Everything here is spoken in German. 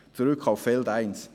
zurück auf Feld eins.